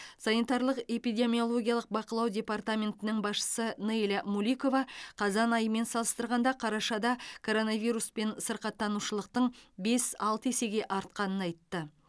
санитарлық эпидемиологиялық бақылау департаментінің басшысы нейля муликова қазан айымен салыстырғанда қарашада коронавируспен сырқаттанушылықтың бес алты есеге артқанын айтты